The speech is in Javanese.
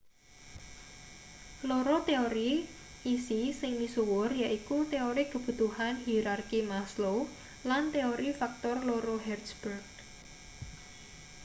loro teori isi sing misuwur yaiku teori kebutuhan hierarki maslow lan teori faktor loro hertzberg